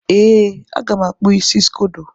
Ee, a ga m akpụ isi scodo.